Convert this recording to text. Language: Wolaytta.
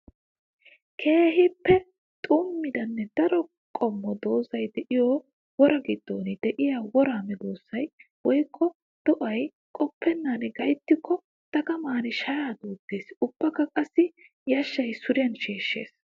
Keehippe xummiddanne daro qommo doozzay de'iyo woraa giddon de'iya woraa medosay woykko do'ay qoppennan gayttikko dagaman shaya duutes! Ubbakka qassi yashshay suriyan sheeshshes.